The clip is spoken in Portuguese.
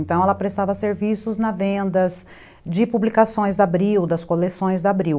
Então, ela prestava serviços na vendas de publicações da Abril, das coleções da Abril.